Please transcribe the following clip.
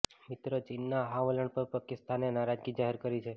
મિત્ર ચીનના આ વલણ પર પાકિસ્તાને નારાજગી જાહેર કરી છે